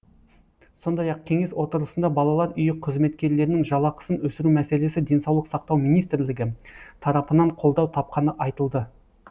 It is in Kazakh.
сондай ақ кеңес отырысында балалар үйі қызметкерлерінің жалақысын өсіру мәселесі денсаулық сақтау министрлігі тарапынан қолдау тапқаны айтылды